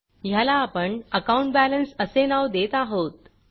ह्याला आपण अकाउंट Balanceअकाउंट बॅलेन्स असे नाव देत आहोत